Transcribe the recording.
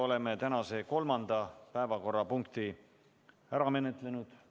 Oleme tänase kolmanda päevakorrapunkti ära menetlenud.